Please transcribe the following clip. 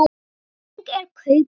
Hvernig er kaupið?